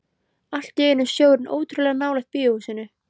Allt í einu er sjórinn ótrúlega nálægt bíóhúsinu.